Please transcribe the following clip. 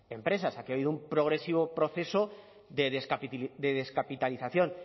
empresas aquí ha habido un progresivo proceso de descapitalización